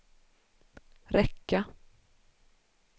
räcka